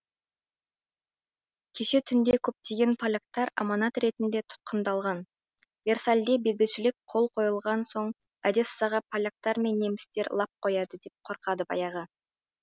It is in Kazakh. кеше түнде көптеген поляктар аманат ретінде тұтқындалған версальде бейбітшілік қол қойылған соң одессаға поляктар мен немістер лап қояды деп қорқады баяғы